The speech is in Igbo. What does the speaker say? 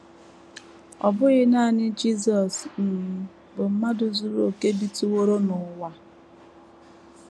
Ọ bụghị nanị Jisọs um bụ mmadụ zuru okè bitụworo n’ụwa.